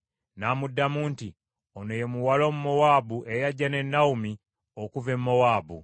N’amuddamu nti, “Ono ye muwala Omumowaabu eyajja ne Nawomi okuva e Mowaabu.